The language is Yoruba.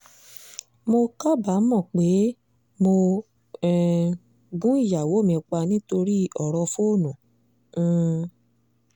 mo kábàámọ̀ pé mo um gun ìyàwó mi pa nítorí ọ̀rọ̀ fóònù um